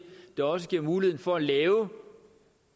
der også giver mulighed for at lave